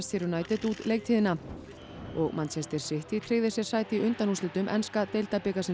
United út leiktíðina og Manchester City tryggði sér sæti í undanúrslitum enska deildabikarsins